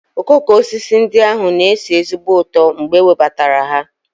Okooko osisi ndị ahụ na-esi ezigbo ụtọ mgbe e webatara ha.